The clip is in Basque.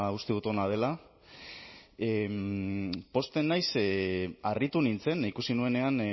uste dut ona dela pozten naiz ze harritu nintzen ikusi nuenean